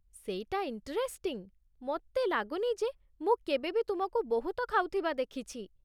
ସେଇଟା ଇଣ୍ଟରେଷ୍ଟିଂ, ମୋତେ ଲାଗୁନି ଯେ ମୁଁ କେବେ ବି ତୁମକୁ ବହୁତ ଖାଉଥିବା ଦେଖିଛି ।